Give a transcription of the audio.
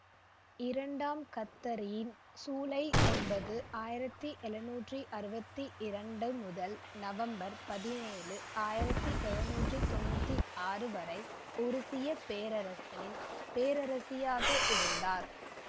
இரண்டாம் கத்தரீன் சூலை ஒன்பது ஆயிரத்தி எழுநூற்றி அறுபத்தி இரண்டு முதல் நவம்பர் பதினேழு ஆயிரத்தி எழுநூற்றி தொன்னூற்தி ஆறு வரை உருசிய பேரரசின் பேரரசியாக இருந்தார்